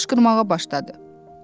Xəfiyyə qışqırmağa başladı.